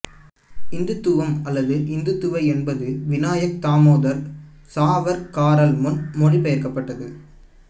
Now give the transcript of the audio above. இந்துத்துவம் அல்லது இந்துத்துவா என்பது வினாயக் தாமோதர் சாவர்க்கரால் முன்மொழியப்பட்ட